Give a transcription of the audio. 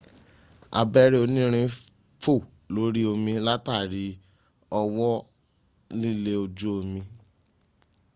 abẹ́rẹ́ onírin fò lórí omi látàrí ọwọ́ lílé ojú omi